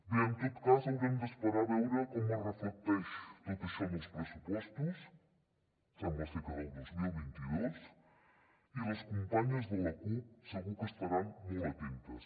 bé en tot cas haurem d’esperar a veure com es reflecteix tot això en els pressupostos sembla ser que del dos mil vint dos i les companyes de la cup segur que estaran molt atentes